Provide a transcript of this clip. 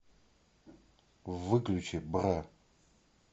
выключи бра